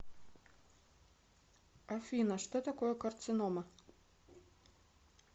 афина что такое карцинома